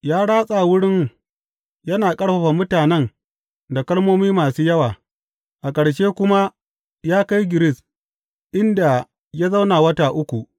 Ya ratsa wurin yana ƙarfafa mutanen da kalmomi masu yawa, a ƙarshe kuma ya kai Giris, inda ya zauna wata uku.